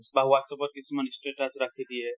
বা WhatsApp ত কিছুমান statusৰাখি দিয়ে।